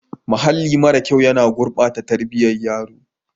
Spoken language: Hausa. Mahalli mara kyau yana gurbata tarbiyyar yaro.